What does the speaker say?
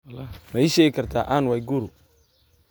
ma ii sheegi kartaa ann waiguru